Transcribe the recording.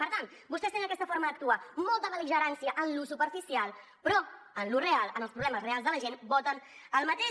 per tant vostès tenen aquesta forma d’actuar molta bel·ligerància en lo superficial però en lo real en els problemes reals de la gent voten el mateix